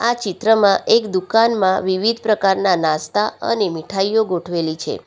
આ ચિત્રમાં એક દુકાનમાં વિવિધ પ્રકારના નાસ્તા અને મીઠાઈઓ ગોઠવેલી છે.